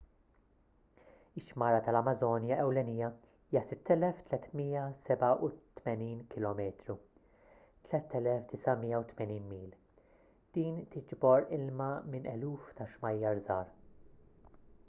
ix-xmara tal-amażonja ewlenija hija 6,387 km 3,980 mil. din tiġbor ilma minn eluf ta’ xmajjar iżgħar